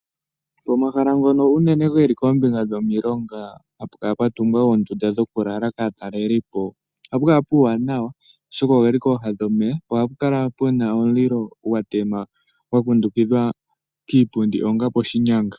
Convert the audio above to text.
Omahala ngoka unene geli kombinga yomilonga, ha kukala kwatungwa oondunda kaatalelipo, ohaku kala kuuwanawa, oshoka oge li pooha dhomeya na ohapu kala pwatemwa omulilo gwa kundukidhwa kiipundi ngaashi poshinyanga.